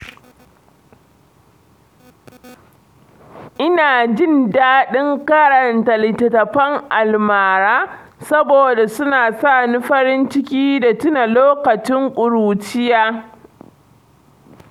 Ina jin daɗin karanta littattafan almara saboda suna sa ni farin ciki da tuna lokacin ƙuruciya.